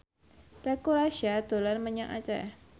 Teuku Rassya dolan menyang Aceh